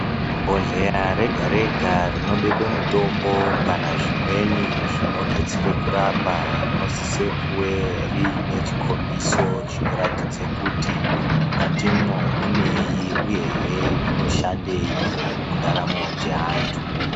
Bhodhleya rega-rega rinobekwa mutombo kana zvimweni zvinodetsera kurapa, rinosise kuwe riyine chikombiso chinoratidze kuti mukatimwo muneyi uyehe zvinoshandeyi mundaramo dzeantu.